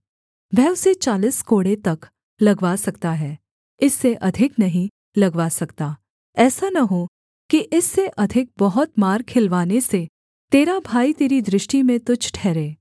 वह उसे चालीस कोड़े तक लगवा सकता है इससे अधिक नहीं लगवा सकता ऐसा न हो कि इससे अधिक बहुत मार खिलवाने से तेरा भाई तेरी दृष्टि में तुच्छ ठहरे